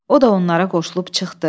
O da onlara qoşulub çıxdı.